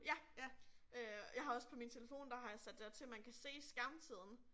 Ja. Øh jeg har også på min telefon der har jeg sat det til man kan se skærmtiden